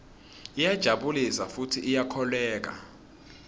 iyajabulisa futsi iyakholweka